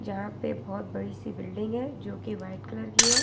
यहां पे बहुत बड़ी सी बिल्डिंग है जो की व्हाइट कलर की है।